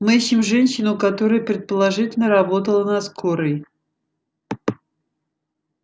мы ищем женщину которая предположительно работала на скорой